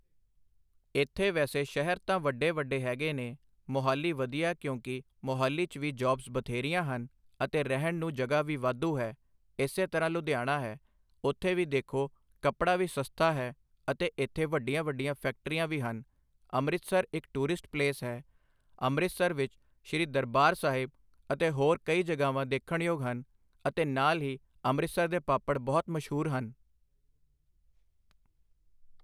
ਇੱਥੇ ਵੈਸੇ ਸ਼ਹਿਰ ਤਾਂ ਵੱਡੇ-ਵੱਡੇ ਹੈਗੇ ਨੇ -ਮੋਹਾਲੀ ਵਧੀਆ ਕਿਉਂਕਿ ਮੋਹਾਲੀ 'ਚ ਵੀ ਜੋਬਜ਼ ਬਥੇਰੀਆਂ ਹਨ ਅਤੇ ਰਹਿਣ ਨੂੰ ਜਗ੍ਹਾ ਵੀ ਵਾਧੂ ਹੈ, ਇਸੇ ਤਰ੍ਹਾਂ ਲੁਧਿਆਣਾ ਹੈ, ਉੱਥੇ ਵੀ ਦੇਖੋ ਕੱਪੜਾ ਵੀ ਸਸਤਾ ਹੈ ਅਤੇ ਇੱਥੇ ਵੱਡੀਆਂ ਵੱਡੀਆਂ ਫੈਕਟਰੀਆਂ ਵੀ ਹਨ। ਅੰਮ੍ਰਿਤਸਰ ਇਕ ਟੂਰਿਸਟ ਪਲੇਸ ਹੈ। ਅੰਮ੍ਰਿਤਸਰ ਵਿਚ ਸ੍ਰੀ ਦਰਬਾਰ ਸਾਹਿਬ ਅਤੇ ਹੋਰ ਕਈ ਜਗ੍ਹਾਵਾਂ ਦੇਖਣਯੋਗ ਹਨ ਅਤੇ ਨਾਲ ਹੀ ਅਮ੍ਰਿਤਸਰ ਦੇ ਪਾਪੜ ਬਹੁਤ ਮਸ਼ਹੂਰ ਹਨ।